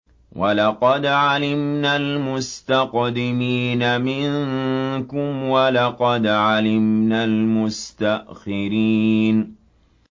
وَلَقَدْ عَلِمْنَا الْمُسْتَقْدِمِينَ مِنكُمْ وَلَقَدْ عَلِمْنَا الْمُسْتَأْخِرِينَ